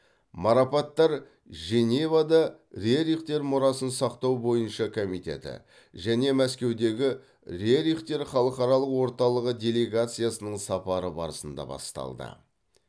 марапаттар женевада рерихтер мұрасын сақтау бойынша комитеті және мәскеудегі рерихтер халықаралық орталығы делегациясының сапары барысында табысталды